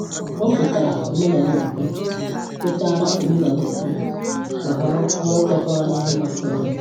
O kwetara omenala okpukpe, kwetara omenala okpukpe, ma họrọ ọrụ kwekọrọ na ihe masịrị ya.